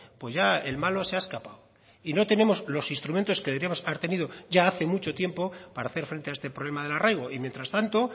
pues ya el malo se ha escapado y no tenemos los instrumentos que deberíamos haber tenido ya hace mucho tiempo para hacer frente a este problema del arraigo y mientras tanto